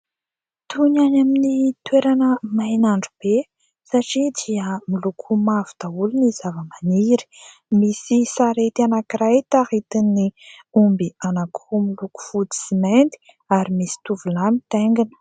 Toy ny any amin'ny toerana main'andro be satria dia miloko mavo daholo ny zava-maniry. Misy sarety anankiray taritin'ny omby anankiroa miloko fotsy sy mainty ary misy tovolahy mitaingina.